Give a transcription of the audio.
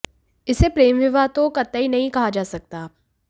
इसे प्रेम विवाह तो कतई नहीं कहा जा सकता